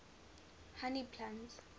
honey plants